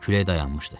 Külək dayanmışdı.